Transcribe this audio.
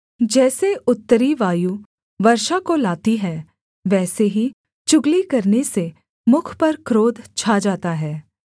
जैसे उत्तरी वायु वर्षा को लाती है वैसे ही चुगली करने से मुख पर क्रोध छा जाता है